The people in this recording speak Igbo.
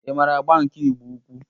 Ị maara agba nkà Ịgbo-ukwu?